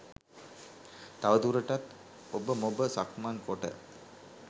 තවදුරටත් ඔබමොබ සක්මන් කොට